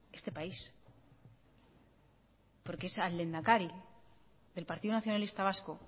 este país porque es al lehendakari del partido nacionalista vasco